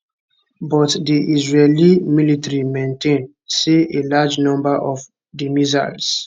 but di israeli military maintain say a large number of di missiles